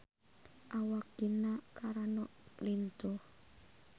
Awak Gina Carano lintuh